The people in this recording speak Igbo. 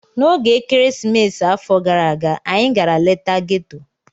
N'oge ekeresimesi afọ gara aga, anyị gara leta ghetto.